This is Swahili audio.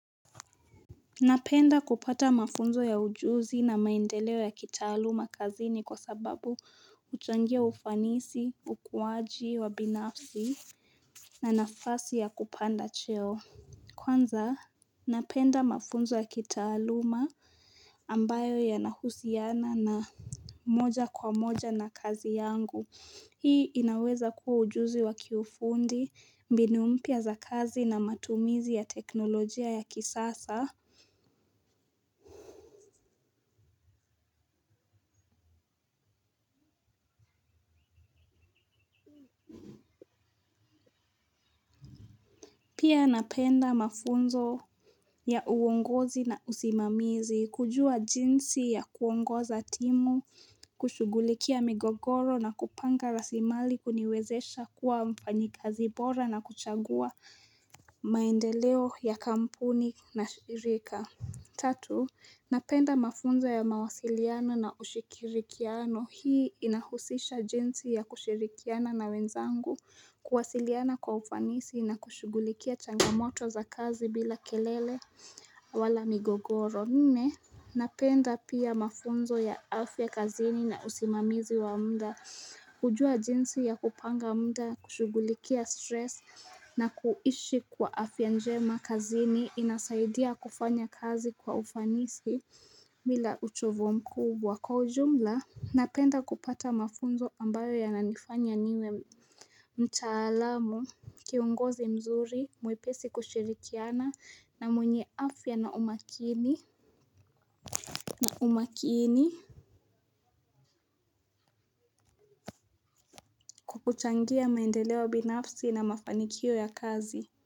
Napenda kupata mafunzo ya ujuzi na maendeleo ya kitaaluma kazi ni kwa sababu huchangia ufanisi, ukuwaji, wabinafsi na nafasi ya kupanda cheo. Kwanza, napenda mafunzo ya kitaaluma ambayo ya nahusiana na moja kwa moja na kazi yangu. Hii inaweza kuwa ujuzi wakiufundi, mbinu mpya za kazi na matumizi ya teknolojia ya kisasa. Pia napenda mafunzo ya uongozi na usimamizi, kujua jinsi ya kuongoza timu, kushugulikia migogoro na kupanga rasimali kuniwezesha kuwa mfanyikazi bora na kuchagua maendeleo ya kampuni na shirika. Tatu, napenda mafunzo ya mawasiliano na ushirikiano. Hii inahusisha jinsi ya kushirikiana na wenzangu kuwasiliana kwa ufanisi na kushugulikia changamoto za kazi bila kelele wala migogoro. Nne napenda pia mafunzo ya afya kazini na usimamizi wa mda. Kujua jinsi ya kupanga mda kushugulikia stress na kuishi kwa afya njema kazini inasaidia kufanya kazi kwa ufanisi bila uchovu mkubwa, kwa ujumla napenda kupata mafunzo ambayo yananifanya niwe mtaalamu kiongozi mzuri mwepesi kushirikiana na mwenye afya na umakini kwakuchangia maendeleo binafsi na mafanikio ya kazi.